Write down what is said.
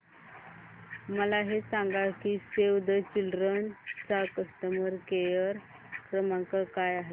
मला हे सांग की सेव्ह द चिल्ड्रेन चा कस्टमर केअर क्रमांक काय आहे